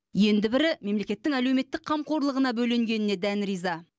енді бірі мемлекеттің әлеуметтік қамқорлығына бөленгеніне дән риза